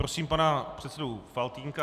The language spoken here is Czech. Prosím pana předsedu Faltýnka.